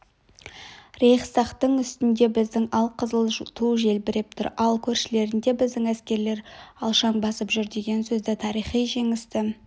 рейхстагтың үстінде біздің алқызыл ту желбіреп тұр ал көшелерінде біздің әскерлер алшаң басып жүр деген сөздері тарихи жеңісті